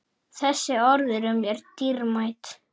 Þessi orð eru mér dýrmæt.